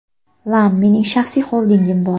Lam: Mening shaxsiy xoldingim bor.